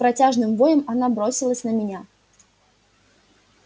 с протяжным воем она бросилась на меня